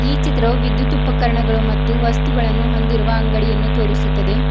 ಈ ಚಿತ್ರವು ವಿದ್ಯುತ್ ಉಪಕರಣಗಳು ಮತ್ತು ವಸ್ತುಗಳನ್ನು ಹೊಂದಿರುವ ಅಂಗಡಿಯನ್ನು ತೋರಿಸುತ್ತದೆ.